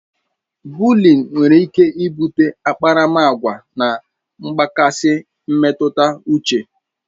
Bụlịịn nwere ike bute akparamagwa na mgbakasị mmetụta uche